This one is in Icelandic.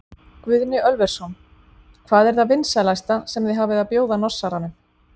Guðni Ölversson: Hvað er það vinsælasta sem þið hafið að bjóða Norsaranum?